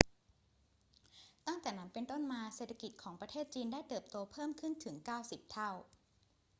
ตั้งแต่นั้นเป็นต้นมา เศรษฐกิจของประเทศจีนได้เติบโตเพิ่มขึ้นถึง 90 เท่า